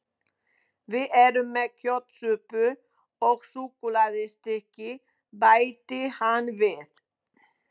Við erum með kjötsúpu og súkkulaðistykki, bætti hann við.